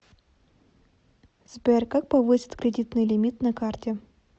сбер как повысить кредитный лимит на карте